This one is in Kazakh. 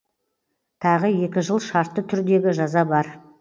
тағы екі жыл шартты түрдегі жаза бар